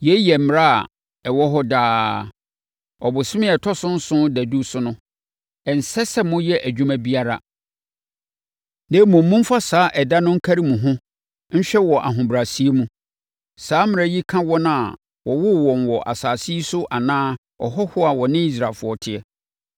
“Yei yɛ mmara a ɛwɔ hɔ daa. Ɔbosome a ɛtɔ so nson dadu so no, ɛnsɛ sɛ moyɛ adwuma biara, na mmom, momfa saa ɛda no nkari mo ho nhwɛ wɔ ahobrɛaseɛ mu. Saa mmara yi ka wɔn a wɔwoo wɔn wɔ asase yi so anaa ahɔhoɔ a wɔne Israelfoɔ teɛ;